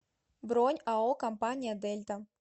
бронь ао компания дельта